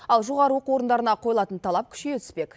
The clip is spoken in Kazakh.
ал жоғары оқу орындарына қойылатын талап күшейе түспек